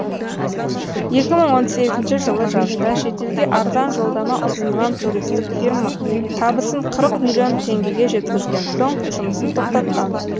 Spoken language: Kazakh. екі мың он сегізінші жылы жазда шетелге арзан жолдама ұсынған туристік фирма табысын қырық миллион теңгеге жеткізген соң жұмысын тоқтатқан